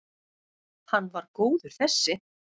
Hann var góður þessi!